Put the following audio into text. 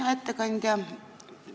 Hea ettekandja!